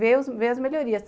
ver ver as melhorias.